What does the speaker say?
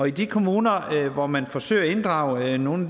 i de kommuner hvor man forsøger at inddrage nogle